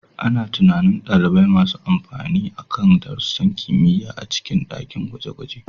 Ana tunanin ɗalibai masu amfani akan darussan kimiyya a cikin dakin gwaje-gwaje.